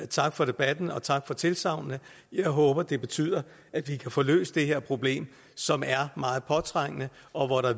tak for debatten og tak for tilsagnene jeg håber det betyder at vi kan få løst det her problem som er meget påtrængende og